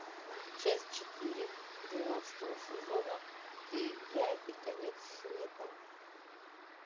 часть четыре двенадцатого сезона ты я и конец света